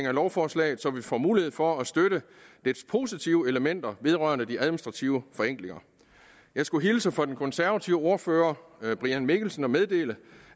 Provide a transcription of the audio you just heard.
af lovforslaget så vi får mulighed for at støtte dets positive elementer vedrørende de administrative forenklinger jeg skulle hilse fra den konservative ordfører herre brian mikkelsen og meddele